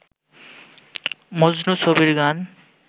মজনু ছবির গান